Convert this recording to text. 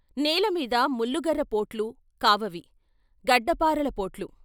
నేల మీద ముల్లుగర్ర పోట్లు కావవి గడ్డపారల పోట్లు.